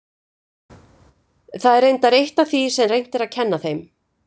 Það er reyndar eitt af því sem reynt er að kenna þeim.